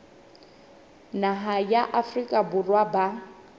naha ya afrika borwa ba